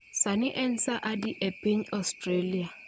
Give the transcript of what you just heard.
Sani en saa adi epiny Ostrielia